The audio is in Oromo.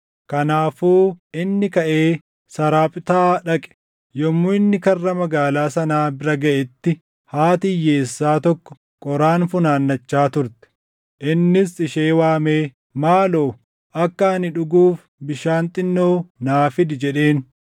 Kanaafuu inni kaʼee Saraaphtaa dhaqe. Yommuu inni karra magaalaa sanaa bira gaʼetti haati hiyyeessaa tokko qoraan funaannachaa turte. Innis ishee waamee, “Maaloo akka ani dhuguuf bishaan xinnoo naa fidi” jedheen.